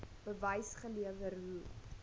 bewys gelewer hoe